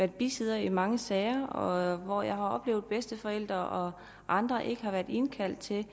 bisidder i mange sager hvor jeg har oplevet at bedsteforældre og andre ikke har været indkaldt til